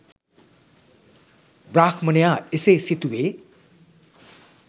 බ්‍රාහ්මණයා එසේ සිතුවේ